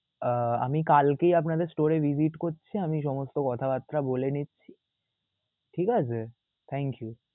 আহ আমি কালকেই store এ visit করছি আমি সমস্থ কথাবাত্রা বলে নিচ্ছি ঠিক আছে. thank you